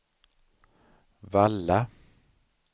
Valla